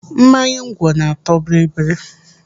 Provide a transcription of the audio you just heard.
Mmanya ngwọ na-atọ bibiri.